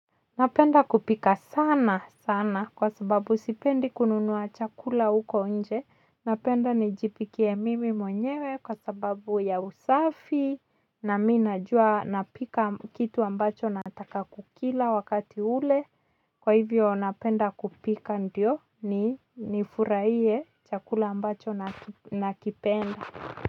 Napenda kupika saana saana kwa sababu sipendi kununua chakula huko nje napenda nijipikie mimi mwenyewe kwa sababu ya usafi na mi najua napika kitu ambacho nataka kukila wakati ule kwa hivyo napenda kupika ndio ni nifurahie chakula ambacho nakipenda.